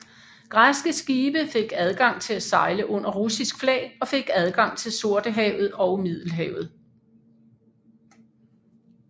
Græske skibe fik adgang til at sejle under russisk flag og fik adgang til Sortehavetog Middelhavet